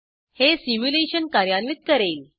हे सिम्युलेशन कार्यान्वित करेल